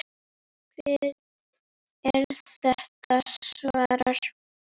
Hvert er þitt svar?